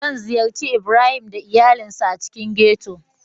Zan ziyarci Ibrahim da iyalinsa a cikin ghetto.